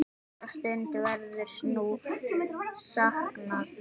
Þessara stunda verður nú saknað.